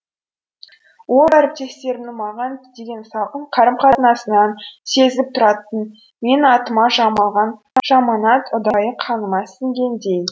ол әріптестерімнің маған деген салқын қарым қатынасынан сезіліп тұратын менің атыма жамалған жаманат ұдайы қаныма сіңгендей